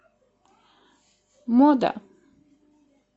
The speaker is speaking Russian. мода